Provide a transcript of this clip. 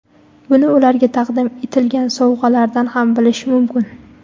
Buni ularga taqdim etilgan sovg‘alardan ham bilish mumkin.